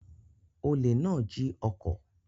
Olè náà jí ọkọ̀.